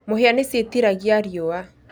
Mũhĩa nĩ ciĩtiragia riũwa